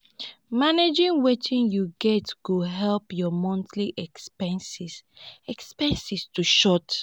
managing wetin yu get go help yur monthly expenses expenses to short